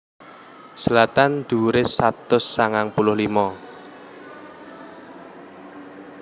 Zlatan dhuwuré satus sangang puluh lima